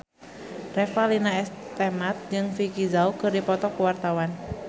Revalina S. Temat jeung Vicki Zao keur dipoto ku wartawan